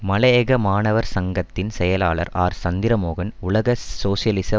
மலையக மாணவர் சங்கத்தின் செயலாளர் ஆர் சந்திரமோகன் உலக சோசியலிச